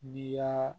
Ni y'a